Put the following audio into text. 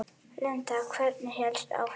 Linda: Hvernig hélstu áfram?